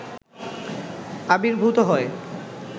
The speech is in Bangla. আবির্ভূত হয়